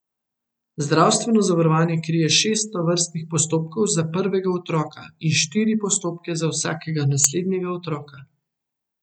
Zdravstveno zavarovanje krije šest tovrstnih postopkov za prvega otroka in štiri postopke za vsakega naslednjega otroka.